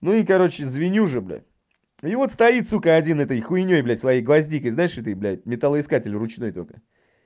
ну и короче звеню уже блять и вот стоит сука один этой хуйнёй блять своей гвоздикой знаешь этот блять металлоискатель ручной только